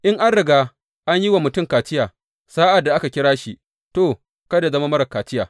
In an riga an yi wa mutum kaciya sa’ad da aka kira shi, to, kada yă zama marar kaciya.